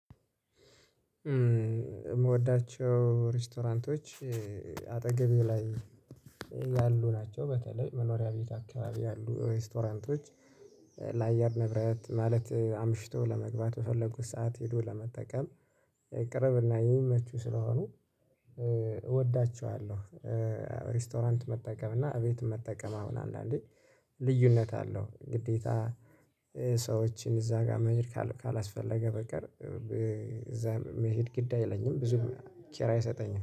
የምወዳቸው ሬስቶራንቶች አጠገቤ ላይ ያሉ ናቸው በተለይ መኖሪያ ቤት አካባቢ ያሉ ሬስቶራንቶች ለአየር ንብረት ማለት አምሽቶ ለመግባት በፈለጉት ሰዓት ሄዶ ለመጠቀም ቅርብና የሚመቹ ስለሆኑ እወዳቸዋለሁ። ሬስቶራንት መጠቀም እና እቤት መጠቀም አሁን አንዳንዴ ልዩነት አለው። ግዴታ ሰዎችን እዛ ጋር መሄድ ካላስፈለገ በቀር እዛ መሄድ ግዳ አይለኝም። ብዙም ኪራይ አይሰጠኝም